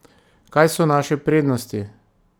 Kaj so naše prednosti?